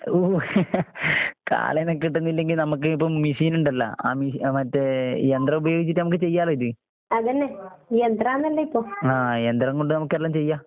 ഊ കാളേനെ കിട്ടുന്നില്ലെങ്കി നമ്മക്ക് ഇപ്പം മിഷീൻ ഇണ്ടല്ലാ, ആ മിഷി അഹ് മറ്റേ യന്ത്രം ഉപയോഗിച്ചിട്ട് നമുക്ക് ചെയ്യാല്ലോ ഇത്. ആഹ് യന്ത്രം കൊണ്ട് നമുക്കെല്ലാം ചെയ്യാം.